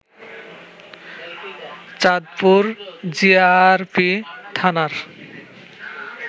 Chandpur GRP থানার